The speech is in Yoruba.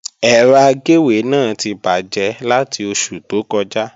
Ẹ̀rọ agéwé náà ti bàjẹ́ láti oṣù tó kọjá